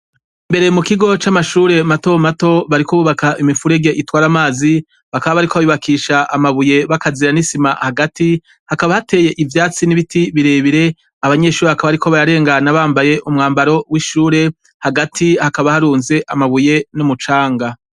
Mbere mu kigo c'amashure mato mato bariko bubaka imifurege itware amazi, bakaba bari ko bayubakisha amabuye bagazira n'isima hagati, hakaba hateye ivyatsi n'ibiti birebire ,abanyeshuri hakaba ariko bayarengana bambaye umwambaro w'ishure hagati hakaba harunze amabuye n'umucanga.